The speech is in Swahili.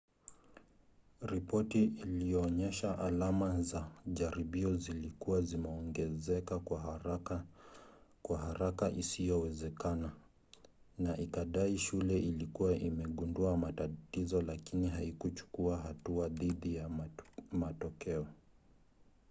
ripoti ilionyesha alama za jaribio zilikuwa zimeongezeka kwa haraka isiyowezekana na ikadai shule ilikuwa imegundua matatizo lakini haikuchukua hatua dhidi ya matokeo